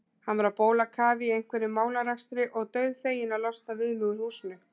Hann var á bólakafi í einhverjum málarekstri og dauðfeginn að losna við mig úr húsinu.